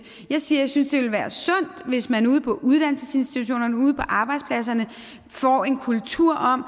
jeg siger synes det ville være sundt hvis man ude på uddannelsesinstitutionerne og ude på arbejdspladserne får en kultur om